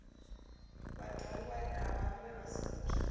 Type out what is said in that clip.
vhad ogwa na vhaṋwe vhasuthu